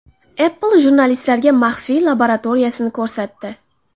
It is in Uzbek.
Apple jurnalistlarga maxfiy laboratoriyasini ko‘rsatdi.